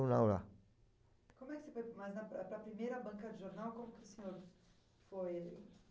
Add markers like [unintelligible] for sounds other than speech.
lá. Como é que você foi [unintelligible] para a primeira banca de jornal, como o senhor foi?